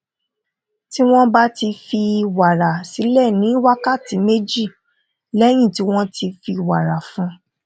tí wón bá fi wàrà sílè ní wákàtí méjì léyìn tí wón ti fi wàrà fún